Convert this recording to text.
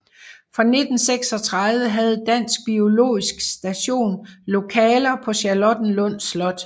Fra 1936 havde Dansk biologisk Station lokaler på Charlottenlund Slot